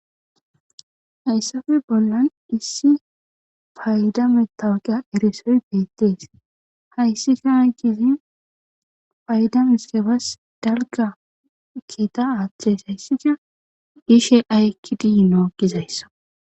hayssafe bollan issi fayda metaweqiya erisoy beettees hayssika hay gizi paydames kebas dalga kiita aaththes hayssida gishe aykkidiino gizayssa